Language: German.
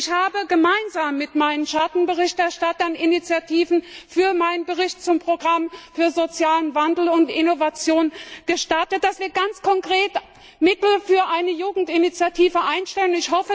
Ich habe gemeinsam mit meinen Schattenberichterstattern Initiativen für meinen Bericht zum Programm für sozialen Wandel und Innovation gestartet, damit wir ganz konkret Mittel für eine Jugendinitiative einstellen.